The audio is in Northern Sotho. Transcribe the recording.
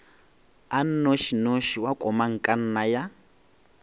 a nnošinoši wa komangkanna ya